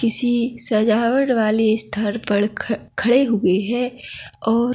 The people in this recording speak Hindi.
किसी सजावट वाले स्थान पर ख खड़े हुए हैं और--